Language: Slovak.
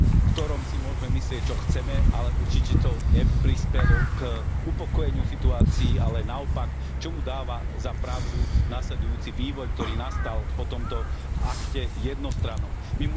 ktorom si môžeme myslieť, čo chceme, ale určite to neprispelo k upokojeniu situácie, ale naopak, čomu dáva za pravdu nasledujúci vývoj, ktorý nastal po tomto jednostrannom akte.